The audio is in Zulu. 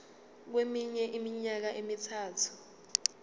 kweminye iminyaka emithathu